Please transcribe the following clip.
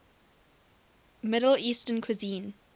middle eastern cuisine